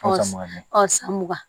san mugan